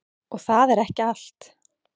Og það er ekki allt.